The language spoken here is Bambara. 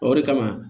O de kama